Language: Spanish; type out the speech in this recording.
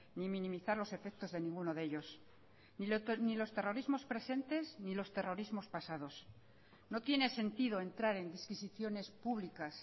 ni minimizar los efectos de ninguno de ellos ni los terrorismos presentes ni los terrorismos pasados no tiene sentido entrar en disquisiciones públicas